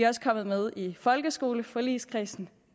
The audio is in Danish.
også kommet med i folkeskoleforligskredsen